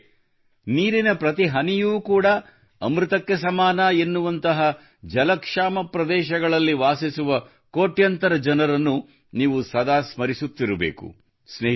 ಆದರೆ ನೀರಿನ ಪ್ರತಿ ಹನಿಯೂ ಅಮೃತಕ್ಕೆ ಸಮನಾದಂತಹ ಜಲಕ್ಷಾಮ ಪ್ರದೇಶಗಳಲ್ಲಿ ವಾಸಿಸುವ ಕೋಟ್ಯಂತರ ಜನರನ್ನು ನೀವು ಸದಾ ಸ್ಮರಿಸುತ್ತಿರಬೇಕು